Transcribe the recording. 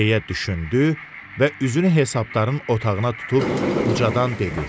deyə düşündü və üzünü hesabdarlıq otağına tutub ucadan dedi: